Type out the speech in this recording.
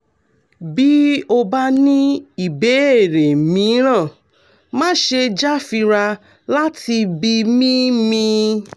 bí o bá ní ìbéèrè mìíràn má ṣe jáfira láti bi mí mí